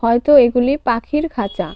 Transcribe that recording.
হয়তো এগুলি পাখির খাঁচা.